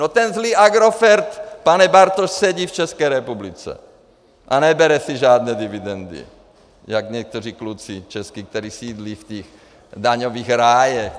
No ten zlý Agrofert, pane Bartoš, sedí v České republice a nebere si žádné dividendy, jak někteří kluci český, kteří sídlí v těch daňových rájích.